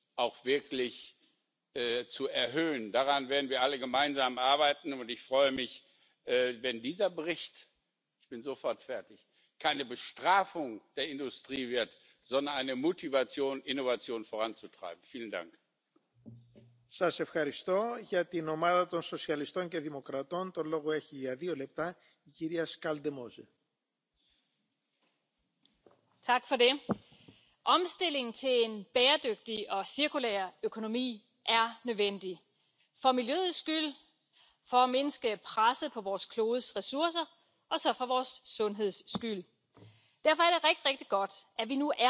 and oceans each year. But I have to ask the question, and we should all be asking the question somebody has to put that plastic there for others to take out, so there must be a serious educational problem somewhere along the line, since we are not getting the message across. The Commission may want to consider further action in pursuit of a circular plastic economy by introducing the recommended new provisions reducing hazardous substances in plastics. In that way we can increase plastic recycling without increasing the risk of emitting hazardous substances into the environment. This is one cause of the problem.